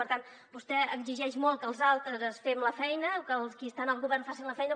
per tant vostè exigeix molt que els altres fem la feina o que els qui estan al govern facin la feina